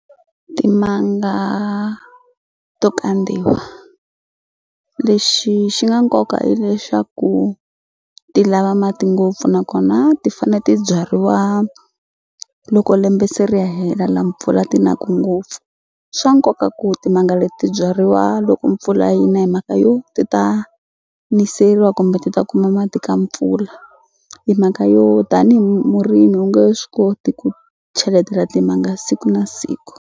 Timanga to kandziwa lexi xi nga nkoka i lexaku ti lava mati ngopfu nakona ti fane ti byariwa loko lembe se ri hela la mpfula ti na ku ngopfu swa nkoka ku timanga leti byariwa loko mpfula yi na hi mhaka yo ti ta niseriwa kumbe ti ta kuma mati ka mpfula hi mhaka yo tanihi murimi u nge swi koti ku cheletela timanga siku na siku.